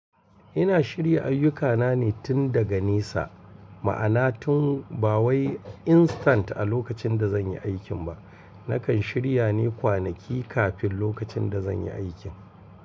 Ina shirya ayyukana ne tun daga nesa, ma'ana tun ba wai instant a lokacin da zan yi aikin ba. Nakan shirya ne kwanaki kafin lokacin da zan yi aikin.